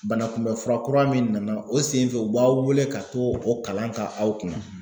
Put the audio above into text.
Bana kunbɛn fura kura min nana o senfɛ u b'aw weele ka t'o o kalan ka aw kun.